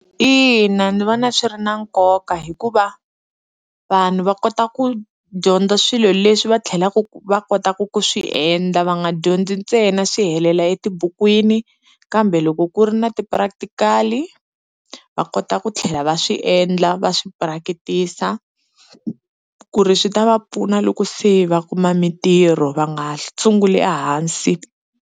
Ina ni vona swi ri na nkoka hikuva vanhu va kota ku dyondza swilo leswi va tlhelaku va kotaka ku swi endla va nga dyondzi ntsena swi helela etibukwini, kambe loko ku ri na ti-practical-i va kota ku tlhela va swi endla va swi purakitisa ku ri swi ta va pfuna loko se va kuma mintirho va nga sunguli ehansi.